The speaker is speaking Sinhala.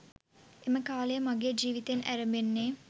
එම කාලය මගේ ජීවිතයෙන් ඇරඹෙන්නේ